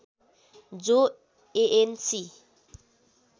जो एएनसी